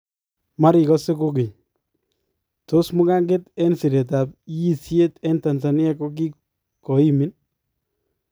Marikase kokeny , tos mukankeet en sireetab yiisyeet en Tanzania kokikoimiin?